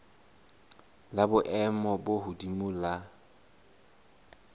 la boemo bo hodimo la